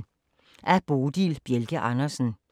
Af Bodil Bjelke Andersen